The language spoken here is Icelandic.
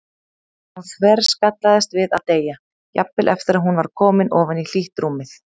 Hún þverskallaðist við að deyja, jafnvel eftir að hún var komin ofan í hlýtt rúmið.